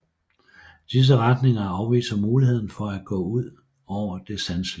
Disse retninger afviser muligheden for at gå ud over det sanselige